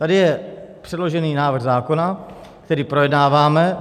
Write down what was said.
Tady je předložený návrh zákona, který projednáváme.